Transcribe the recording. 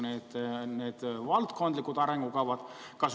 Kuidas need valdkondlikud arengukavad seostatakse?